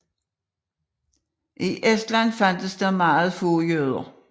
I Estland fandtes der meget få jøder